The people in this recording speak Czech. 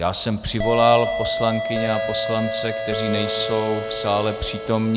Já jsem přivolal poslankyně a poslance, kteří nejsou v sále přítomni.